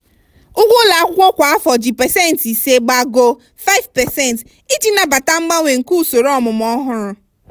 ụgwọ ụlọ akwụkwọ kwa afọ ji pasentị ise gbagoo (5%) iji nabata mgbanwe nke usoro ọmụmụ ọhụrụ.